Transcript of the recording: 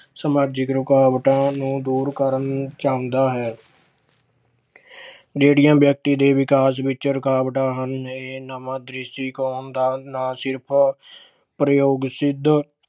ਸਮਾਜਿਕ ਰੁਕਾਵਟਾਂ ਨੂੰ ਦੂਰ ਕਰਨਾ ਚਾਹੁੰਦਾ ਹੈ। ਜਿਹੜੀਆਂ ਵਿਅਕਤੀ ਦੇ ਵਿਕਾਸ ਵਿੱਚ ਰੁਕਾਵਟਾਂ ਹਨ, ਇਹ ਨਵੇਂ ਦ੍ਰਿਸ਼ਟੀਕੋਣ ਦਾ ਨਾ ਸਿਰਫ ਪ੍ਰਯੋਗ ਸਿੱਧ